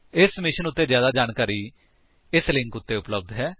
ਇਸ ਮਿਸ਼ਨ ਉੱਤੇ ਜਿਆਦਾ ਜਾਣਕਾਰੀ ਹੇਠਾਂ ਦਿੱਤੇ ਲਿੰਕ ਉੱਤੇ ਉਪਲੱਬਧ ਹੈ